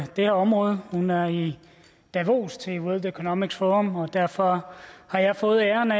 det her område hun er i davos til world economic forum og derfor har jeg fået æren af